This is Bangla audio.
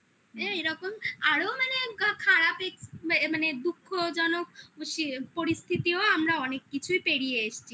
হ্যাঁ এরকম আরো মানে খারাপ এক্স মানে দুঃখজনক পরিস্থিতিও আমরা অনেক কিছুই পেরিয়ে এসছি